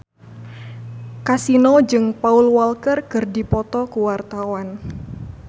Kasino jeung Paul Walker keur dipoto ku wartawan